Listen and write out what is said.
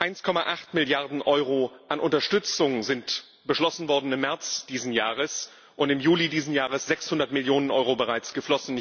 1,8 Milliarden Euro an Unterstützung sind beschlossen worden im März dieses Jahres, und im Juli dieses Jahres sind 600 Millionen Euro bereits geflossen.